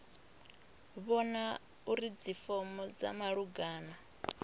vhona uri dzifomo dza malugana